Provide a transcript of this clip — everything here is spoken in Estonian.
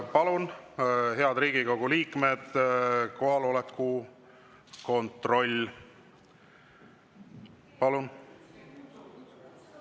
Palun, head Riigikogu liikmed, kohaloleku kontroll!